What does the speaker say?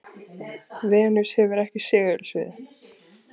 venus hefur ekki segulsvið